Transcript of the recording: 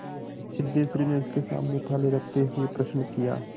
सिद्धेश्वरी ने उसके सामने थाली रखते हुए प्रश्न किया